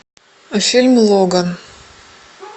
фильм логан